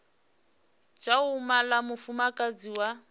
tsha u mala mufumakadzi wa